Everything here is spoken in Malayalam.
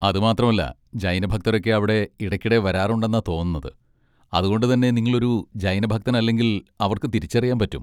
അത് മാത്രമല്ല ജൈന ഭക്തരൊക്കെ അവിടെ ഇടയ്ക്കിടെ വരാറുണ്ടെന്നാ തോന്നുന്നത്, അത്കൊണ്ട് തന്നെ നിങ്ങളൊരു ജൈന ഭക്തനല്ലെങ്കിൽ അവർക്ക് തിരിച്ചറിയാൻ പറ്റും.